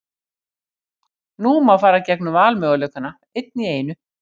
Nú má fara gegnum valmöguleikana, einn í einu.